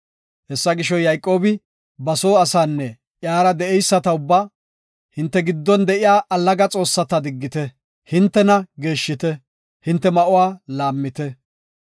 Hessa gisho, Yayqoobi ba soo asaanne iyara de7eyisata ubba, “Hinte giddon de7iya allaga xoossata diggite. Hintena geeshshite, hinte ma7uwa laammite.